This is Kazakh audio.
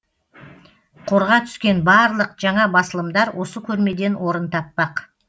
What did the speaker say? қорға түскен барлық жаңа басылымдар осы көрмеден орын таппақ